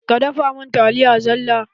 Ka dafa mun taliya zalla.!